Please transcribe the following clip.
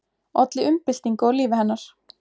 Olli umbyltingu á lífi hennar.